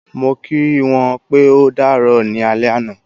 Mo kí wọ́n pé o dàárò ní alé ana